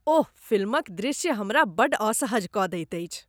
ओह! फिल्मक दृश्य हमरा बड्ड असहज कऽ दैत अछि।